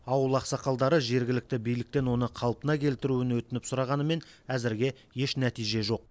ауыл ақсақалдары жергілікті биліктен оны қалпына келтіруін өтініп сұрағанымен әзірге еш нәтиже жоқ